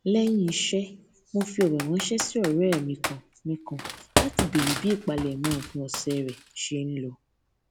léyìn iṣé mo fi òrò ránṣé sí òré mi kan mi kan láti béèrè bí ìpalẹmọ òpin òsè rẹ ṣe n lọ